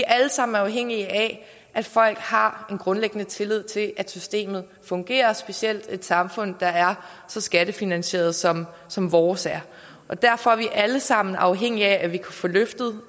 er alle sammen afhængige af at folk har en grundlæggende tillid til at systemet fungerer specielt i et samfund der er så skattefinansieret som som vores er derfor er vi alle sammen afhængige af at vi kan få løftet